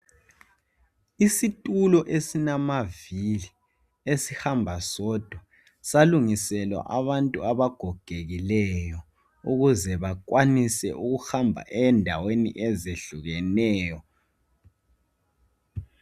Isitulo esilamavili esihamba sodwa. salungiselwa abantu abagogekileyo ukuze bakwanisa ukuhamba endaweni ezehlukeneyo.